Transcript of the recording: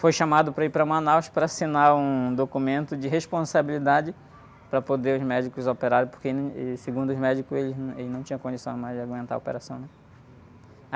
Fui chamado para ir para Manaus para assinar um documento de responsabilidade para poder os médicos operarem, porque segundo os médicos, eles não, ele não tinha condição mais de aguentar a operação, né?